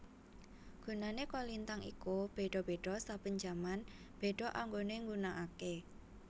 Gunane kolintang iku beda beda saben jaman beda anggone nggunakake